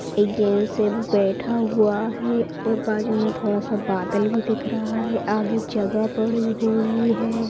जैंट्स एक बैठा हुआ है और बाजू में थोड़ा स बादल भी दिख रहा है आगे जगह बड़ी हुई है।